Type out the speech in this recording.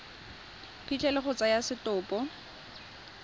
phitlho le go tsaya setopo